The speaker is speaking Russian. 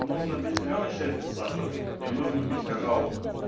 нужно пить зелёный чай без сахара и нужно пить какао